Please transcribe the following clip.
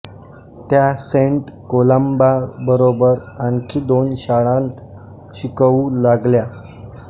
त्या सेंट कोलंबाबरोबर आणखी दोन शाळांत शिकवू लागल्या